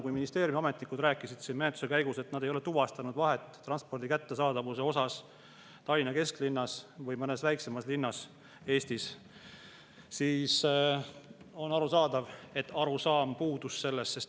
Kuna ministeeriumi ametnikud rääkisid siin menetluse käigus, et nad ei ole tuvastanud vahet transpordi kättesaadavuses Tallinna kesklinnas ja mõnes väiksemas Eesti linnas, siis on arusaadav, et arusaam sellest puudus.